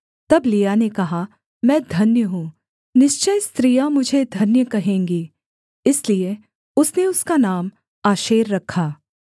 तब लिआ ने कहा मैं धन्य हूँ निश्चय स्त्रियाँ मुझे धन्य कहेंगी इसलिए उसने उसका नाम आशेर रखा